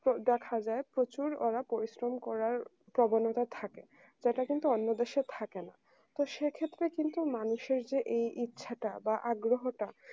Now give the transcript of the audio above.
তো দেখা যায় প্রচুর ওরা পরিশ্রম করার প্রবণতা থাকে তো এটা কিন্তু অন্য দেশে থাকে না তো সেক্ষেত্রে কিন্তু মানুষের যে এই ইচ্ছাটা বা আগ্রহটা